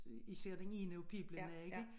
Især den ene af piblana ikke